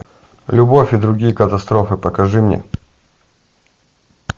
любовь и другие катастрофы покажи мне